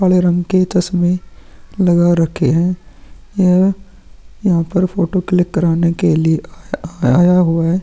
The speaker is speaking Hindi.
काले रंग के चश्मे लगा रखे हैं यह यहां पर फोटो क्लिक कराने के लिए आया आया हुआ है।